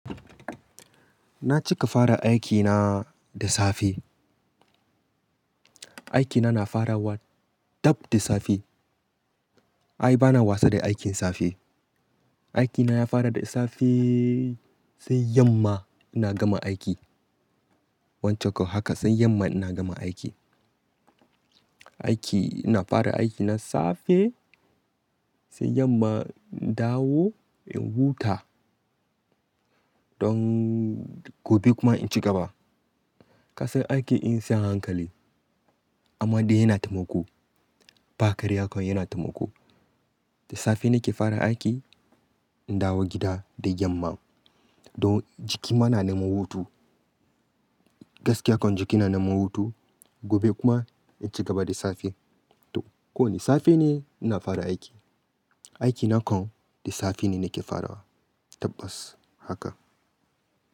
Na cika fara aikina da safe. Aikina na farawa dab da safe. Ai bana wasa da aikin safe. Aikina ya fara da safe sai yamma ina gama aiki. Wancan haka sai yamma ina gama aiki. Aiki ina fara aikina safe sai yamma in dawo in huta don gobe kuma in cigaba. Kasan aiki in siyan hankali amma dai yana taimako. Bakarya kai yana taimako. Da safe nake fara aiki in dawo gida da yamma. Don jiki ma na neman hutu. Gaskiya akwai jiki na neman hutu gobe kuma in cigaba da safe. To ko da safe ne ina fara aiki. Aiki na kan da safe ne nake farawa tabbas haka.